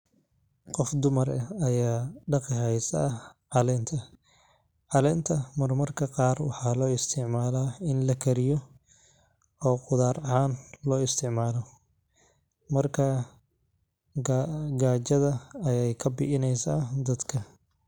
Qof dumaar ex ayaa daqi haysaa calenta, calenta mar marka qar waxaa loisticmalaa in lakariyo o qutxar axaan loisticmalo, marka gajada ayey kabiineysa daadka.